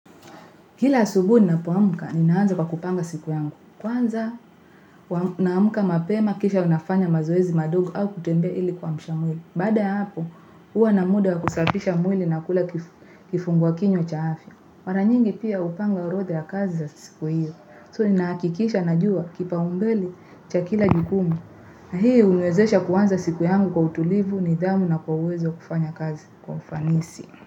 Kila asubuhi ninapoamuka, ninaanza kwa kupanga siku yangu. Kwanza naamuka mapema kisha unafanya mazoezi madogo au kutembea ili kuamsha mwili. Baada ya hapo, huwa na muda wa kusafisha mwili na kula kifungua kinywa cha afya. Mara nyingi pia hupanga orodha ya kazi za siku hiyo. So ninahakikisha najua kipaumbele cha kila jukumu. Na hii huniwezesha kuanza siku yangu kwa utulivu, nidhamu na kwa uwezo kufanya kazi kwa ufanisi.